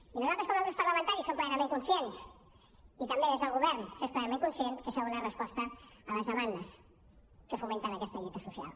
i nosaltres com a grups parlamentaris som plenament conscients i també des del govern s’és plenament conscient que s’ha de donar resposta a les demandes que fomenten aquesta lluita social